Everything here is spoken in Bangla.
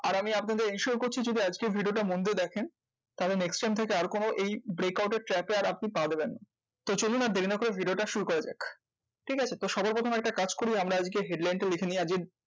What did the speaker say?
আর আমি আপনাদের insure করছি যদি আজকের video টা মন দিয়ে দেখেন, তাহলে next time থেকে আর কোনো এই breakout র এর trap এ আর আপনি পা দিবেন না তো চলুন আর দেরি না করে video টা শুরু করা যাক। ঠিক আছে? তো সবার প্রথমে একটা কাজ করি আমরা আজকে headline টা লিখে নিই।